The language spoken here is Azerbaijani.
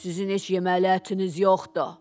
Sizin heç yeməli ətiniz yoxdur.